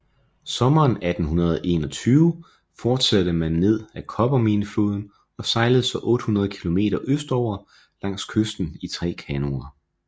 Sommeren 1821 fortsatte man ned ad Copperminefloden og sejlede så 800 kilometer østover langs kysten i tre kanoer